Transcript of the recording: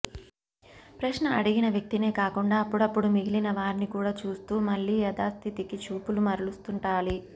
ప్రశ్న అడిగిన వ్యక్తినే కాకుండా అప్పడప్పుడూ మిగిలినవారిని కూడా చూస్తూ మళ్ళీ యథాస్థితికి చూపులు మరలుస్తుండాలి